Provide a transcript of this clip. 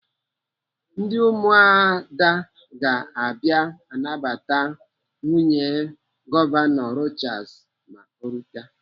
Ndị ụmụada ga-abịa anabata nwunye Gọvanọ Rochas ma ọ rute.